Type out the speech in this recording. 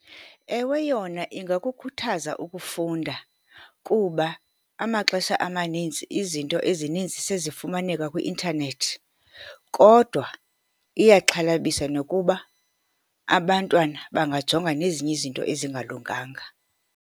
Ewe, yona ingakukhuthaza ukufunda kuba amaxesha amaninzi izinto ezininzi sezifumaneka kwi-intanethi, kodwa iyaxhalabisa nokuba abantwana bangajonga nezinye izinto ezingalunganga.